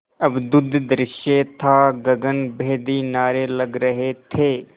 अद्भुत दृश्य था गगनभेदी नारे लग रहे थे